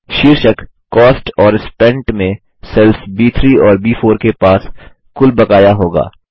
शीर्षक कॉस्ट और स्पेंट में सेल्स ब3 और ब4 के पास कुल बकाया होगा